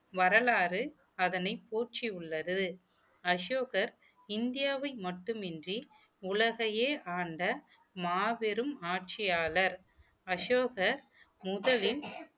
வரலாறு அதனை போற்றியுள்ளது அசோகர் இந்தியாவில் மட்டுமின்றி உலகையே ஆண்ட மாபெரும் ஆட்சியாளர் அசோகர் முதலில்